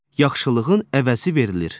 Yaxşılığın əvəzi verilir.